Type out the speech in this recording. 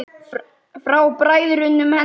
Frá bræðrum hennar í